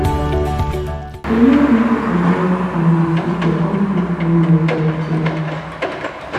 e no easy to balance time with people come still find yourself space